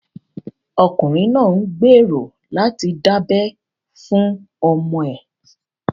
Ọkùnrin náà ń gbèrò láti dábẹ́ fún ọmọ ẹ̀